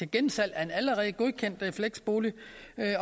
gensalg af en allerede godkendt fleksbolig